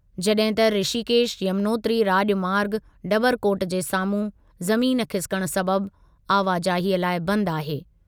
जॾहिं त ऋषिकेश यमुनोत्री राॼमार्ग डबरकोट जे साम्हूं ज़मीन खिसिकण सबबि आवाजाहीअ लाइ बंदि आहे।